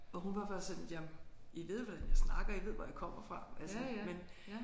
Og hun var bare sådan jamen I ved hvordan jeg snakker I ved hvor jeg kommer fra altså men